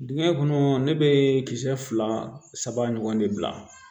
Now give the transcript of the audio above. Dingɛ kɔnɔ ne bɛ kisɛ fila saba ɲɔgɔn de bila